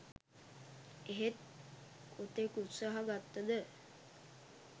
එහෙත් කොතෙක් උත්සාහ ගත්ත ද